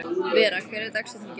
Vera, hver er dagsetningin í dag?